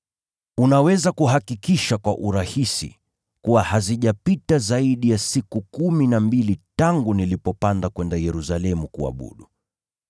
Unaweza kuhakikisha kwa urahisi kuwa hazijapita zaidi ya siku kumi na mbili tangu nilipopanda kwenda Yerusalemu kuabudu.